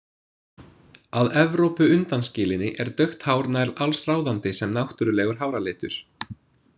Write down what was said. Að Evrópu undanskilinni er dökkt hár nær alsráðandi sem náttúrulegur háralitur.